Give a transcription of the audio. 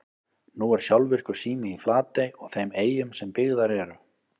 Nú er sjálfvirkur sími í Flatey og þeim eyjum sem byggðar eru.